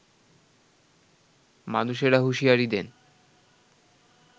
মানুষেরা হুঁশিয়ারি দেন